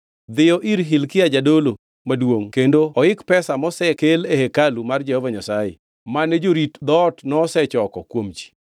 “Dhiyo ir Hilkia jadolo maduongʼ kendo oik pesa mosekel e hekalu mar Jehova Nyasaye, mane jorit dhoot nosechoko kuom ji.